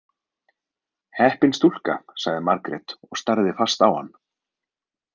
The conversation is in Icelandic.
Heppin stúlka, sagði Margrét og starði fast á hann.